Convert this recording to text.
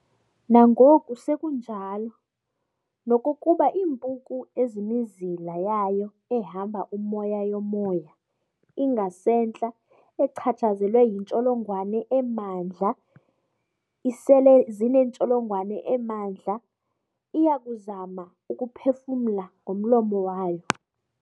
Nangoku sekunjalo, nokokuba iimpuku ezimizila yayo ehamba umoya yomoya ingasentla echatshsazelwe yintsholongwane emandla isele zinentsholongwane emandla, iyakuzama ukuphefumla ngomlomo wayo.